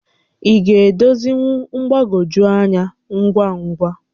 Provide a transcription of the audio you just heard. Ị ga-edozinwu mgbagwoju ányá ngwa ngwa?